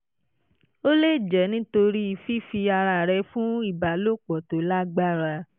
ó lè jẹ́ nítorí fífi ara rẹ̀ fún ìbálòpọ̀ tó lágbára